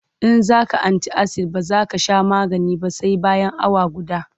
In za ka anti-asid ba za ka sha magani ba sai bayan awa guda.